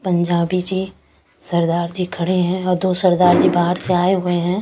पंजाबी जी सरदार जी खड़े हैं और दो सरदार जी बाहर से आए हुए हैं।